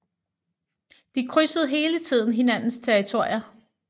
De krydsede hele tiden hinandens territorier